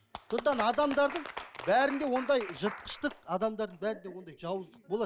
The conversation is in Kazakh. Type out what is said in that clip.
сондықтан адамдардың бәрінде ондай жыртқыштық адамдардың бәрінде ондай жауыздық болады